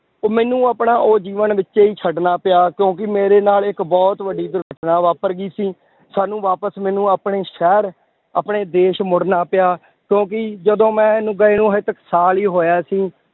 ਉਹ ਮੈਨੂੰ ਆਪਣਾ ਉਹ ਜੀਵਨ ਵਿੱਚੇ ਹੀ ਛੱਡਣਾ ਪਿਆ ਕਿਉਂਕਿ ਮੇਰੇ ਨਾਲ ਇੱਕ ਬਹੁਤ ਵੱਡੀ ਦੁਰਘਟਨਾ ਵਾਪਰ ਗਈ ਸੀ, ਸਾਨੂੰ ਵਾਪਸ ਮੈਨੂੰ ਆਪਣੇ ਸ਼ਹਿਰ, ਆਪਣੇ ਦੇਸ ਮੁੜਨਾ ਪਿਆ, ਕਿਉਂਕਿ ਜਦੋਂ ਮੈਂ ਗਏ ਨੂੰ ਹਾਲੇ ਤਾਂ ਸਾਲ ਹੀ ਹੋਇਆ ਸੀ